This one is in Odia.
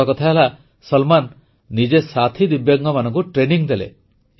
ବଡ଼କଥା ହେଲା ସଲମାନ ନିଜେ ସାଥୀ ଦିବ୍ୟାଙ୍ଗମାନଙ୍କୁ ପ୍ରଶିକ୍ଷଣ ଦେଲେ